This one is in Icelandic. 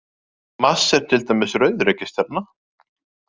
Mars er til dæmis rauð reikistjarna.